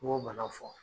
N b'o bana fɔ